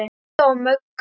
Lilla að Möggu.